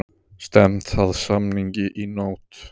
Stefnt að samningi í nótt